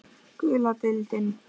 Gula deildin